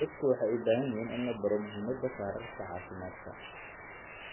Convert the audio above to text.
Dadku waxay u baahan yihiin in la baro muhimadda kaararka caafimaadka.